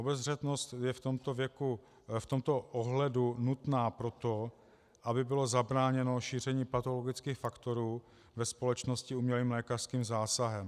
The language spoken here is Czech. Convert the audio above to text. Obezřetnost je v tomto ohledu nutná proto, aby bylo zabráněno šíření patologických faktorů ve společnosti umělým lékařským zásahem.